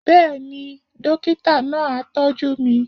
Bẹ́ẹ̀ ni, dókítà náà á tọ́jú mi